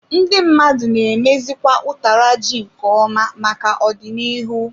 Ndị mmadụ na emezikwa utara ji nke ọma maka ọdịnihu.